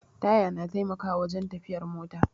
Taya na taimakawa wajen tafiyar mota